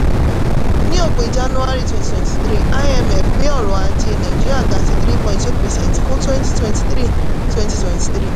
ní òpin january twenty twenty three imf gbé ọrọ̀-ajé nàìjíríà ga sí three point two percent fún twenty twenty three twenty twenty three